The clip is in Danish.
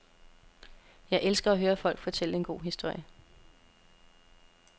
Jeg elsker at høre folk fortælle en god historie.